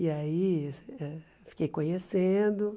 E aí, ãh fiquei conhecendo.